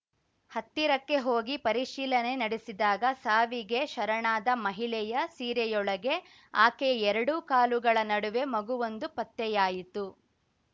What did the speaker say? ಹತ್ತಿರಕ್ಕೆ ಹೋಗಿ ಪರಿಶೀಲನೆ ನಡೆಸಿದಾಗ ಸಾವಿಗೆ ಶರಣಾದ ಮಹಿಳೆಯ ಸೀರೆಯೊಳಗೆ ಆಕೆಯ ಎರಡು ಕಾಲುಗಳ ನಡುವೆ ಮಗುವೊಂದು ಪತ್ತೆಯಾಯಿತು